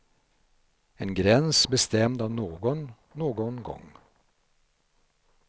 En gräns bestämd av någon, någon gång.